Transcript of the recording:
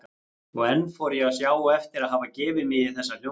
Og enn fór ég að sjá eftir að hafa gefið mig í þessa hljómsveit.